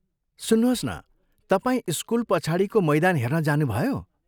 सुन्नुहोस् न , तपाईँ स्कुल पछाडिको मैदान हेर्न जानुभयो?